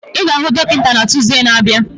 Ị ga-ahụ dọkịta na Tuusde na-abịa?